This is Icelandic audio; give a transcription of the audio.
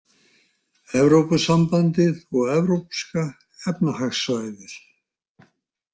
Evrópusambandið og Evrópska efnahagssvæðið.